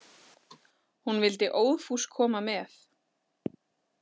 Hún vildi óðfús koma með.